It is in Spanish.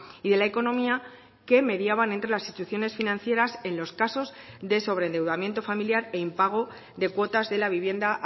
y de la economía que mediaban entre las instituciones financieras en los casos de sobreendeudamiento familiar e impago de cuotas de la vivienda